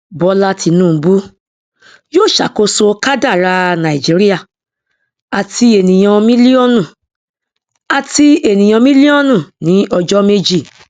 bọlá tinubu yóò ṣàkóso kádàrá nàìjíríà àti ènìyàn mílíọnù àti ènìyàn mílíọnù ní ọjọ méjì